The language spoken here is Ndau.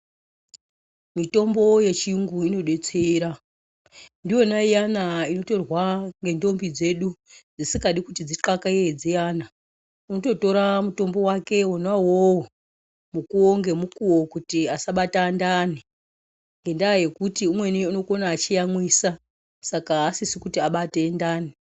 Mitombo yechiyungu inodetsera, ndiyona iyana inotorwa ngendombi dzedu dzisingadi kuti dzixakeye zviyani unototora mutombo wake wona uwowo mukuwo ngemukuwo kuti asabata ndani ngekuti umweni unoyamwisa, saka asisi kuti abate ndani.